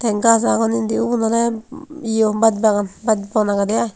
ten gaaj agon indi ubun oley yo basbagan basban agedey i.